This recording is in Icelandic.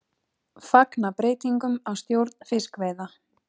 Fagna breytingum á stjórn fiskveiða